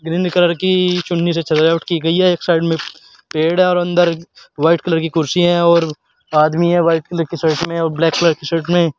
Green colour की चुन्नी से सजावट कि गई है एक साइड में पेड़ और अंदर व्हाइट कलर की कुर्सी है और आदमी है व्हाइट कलर की शर्ट में और ब्लैक कलर की शर्ट में।